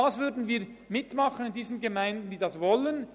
Das würden wir mit den Gemeinden machen, die das wollen.